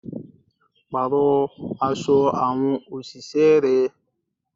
Parọ aṣọ àwọn òṣìṣẹ́ rẹ.